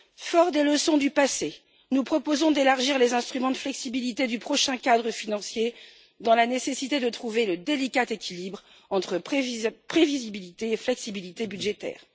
Forts des leçons du passé, nous proposons d'élargir les instruments de flexibilité du prochain cadre financier dans la nécessité de trouver le délicat équilibre entre prévisibilité et flexibilité budgétaire.